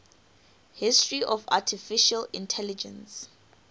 history of artificial intelligence